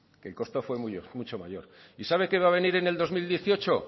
que el costo fue mucho mayor y sabe que va a venir en el dos mil dieciocho